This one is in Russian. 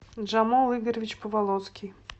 джамул игоревич поволоцкий